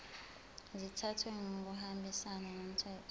zithathwe ngokuhambisana nomthetho